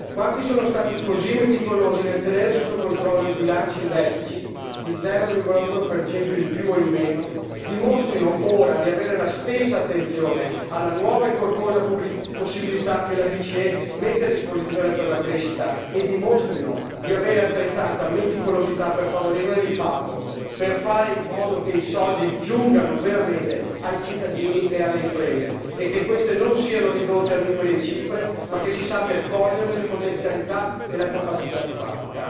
Quanti sono stati così meticolosi nel tenere sotto controllo i bilanci in deficit, gli 0,1 in più o in meno, dimostrino ora di avere la stessa attenzione alla nuova e corposa possibilità che la BCE mette a disposizione per la crescita e dimostrino di avere altrettanta meticolosità per favorirne l'impatto, per fare in modo che i soldi giungano veramente ai cittadini e alle imprese e che queste non siano ridotte a numeri e cifre, ma che si sappia coglierne le potenzialità e la capacità di fare.